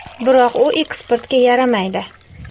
Biroq u eksportga yaramaydi.